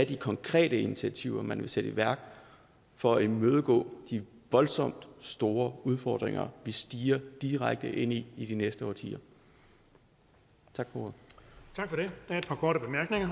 de konkrete initiativer man vil sætte i værk for at imødegå de voldsomt store udfordringer vi stirrer direkte ind i i de næste årtier tak for ordet